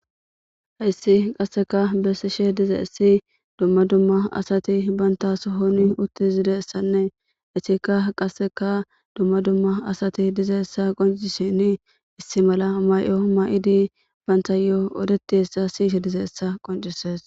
hayssi qasseka bessishe dizaissi dumma dumma asati bantasohon uttizidessanne ettikka qasseka dumma dumma asati diza7essa qoncisheni issi mala may7o may7idi bantayo odetiessa siyishe dize7essa qoncisees